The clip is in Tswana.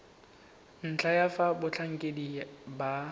ntlha ya fa batlhankedi ba